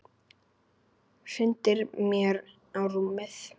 Hrindir mér á rúmið.